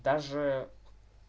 даже